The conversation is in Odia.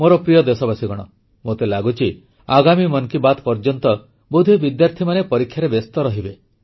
ମୋର ପ୍ରିୟ ଦେଶବାସୀଗଣ ମୋତେ ଲାଗୁଛି ଆଗାମୀ ମନ କି ବାତ୍ ପର୍ଯ୍ୟନ୍ତ ବୋଧହୁଏ ବିଦ୍ୟାର୍ଥୀମାନେ ପରୀକ୍ଷାରେ ବ୍ୟସ୍ତ ରହିବେ